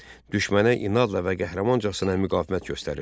Düşmənə inadla və qəhrəmancasına müqavimət göstərirdi.